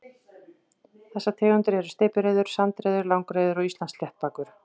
Þessar tegundir eru steypireyður, sandreyður, langreyður og Íslandssléttbakur.